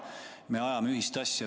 Me ajame ühist asja.